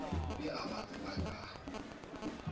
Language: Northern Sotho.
be a ba tseba ka